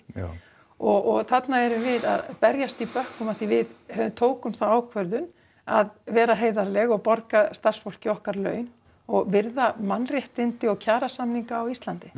og þarna eru við að berjast í bökkum af því við tókum þá ákvörðun að vera heiðarleg og borga starfsfólki okkar laun og virða mannréttindi og kjarasamninga á Íslandi